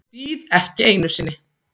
Bíð ekki einu sinni.